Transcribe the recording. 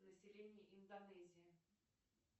население индонезии